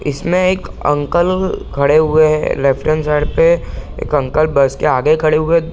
इसमें एक अंकल खड़े हुए हैं लेफ्ट हैंड साइड पे | एक अंकल बस के आगे खड़े हुए हैं |